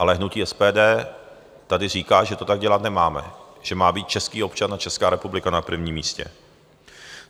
Ale hnutí SPD tady říká, že to tak dělat nemáme, že má být český občan a Česká republika na prvním místě.